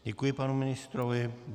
Děkuji panu ministrovi.